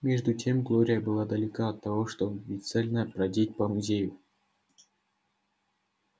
между тем глория была далека от того чтобы бесцельно бродить по музею